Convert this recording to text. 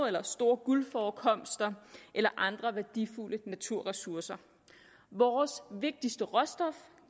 eller store guldforekomster eller andre værdifulde naturressourcer vores vigtigste råstof